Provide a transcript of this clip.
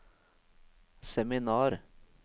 seminar